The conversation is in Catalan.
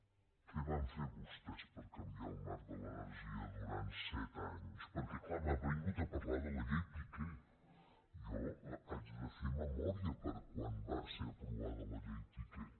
què van fer vostès per canviar el marc de l’energia durant set anys perquè clar m’ha vingut a parlar de la llei piqué jo haig de fer memòria de quan va ser aprovada la llei piqué